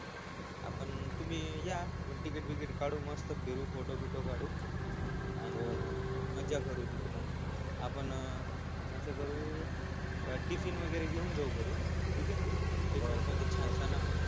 आपण तुम्ही या तिकीट बिकीट काढू मस्त फोटो बिटो काढू आण मज्जा करू तिथं मग आपण अस करू टिफिन वैगरे घेऊन जाऊ घरून ठिकय हा टिफिन मध्ये छान छान